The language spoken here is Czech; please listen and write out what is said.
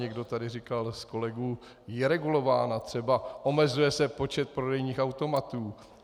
Někdo tady říkal z kolegů, je regulována, třeba omezuje se počet prodejních automatů.